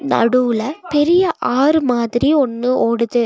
நடுவுல பெரிய ஆறு மாதிரி ஒன்னு ஓடுது.